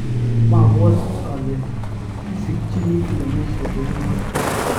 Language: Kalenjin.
mabwoti ale sikchini iamisie kou noto